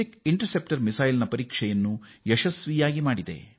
ಖಂಡಾಂತರ ಕ್ಷಿಪಣಿ ಬೇಧಕದ ಪರೀಕ್ಷೆಯನ್ನು ಯಶಸ್ವಿಯಾಗಿ ನಡೆಸಿದೆ